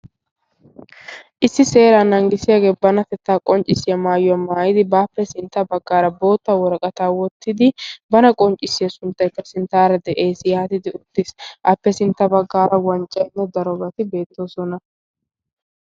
issi seera nanggisiyaagee banatettaa qonccissiyaa maayuwaa maayidi baappe sintta baggaara bootta woraqata wottidi bana qonccissiya sunttaykka sinttaara de7ees. yaatidi uttiis appe sintta baggaara wanccaynne darobati beettoosona.